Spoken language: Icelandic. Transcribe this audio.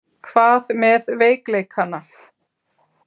Hvað með veikleikana?